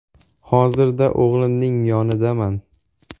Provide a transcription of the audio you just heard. Hozirda o‘g‘limning yonidaman.